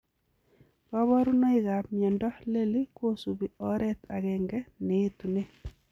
Kabarunoik ap miondoo leli kosupii oret agenge neetunee